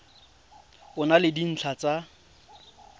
e na le dintlha tsa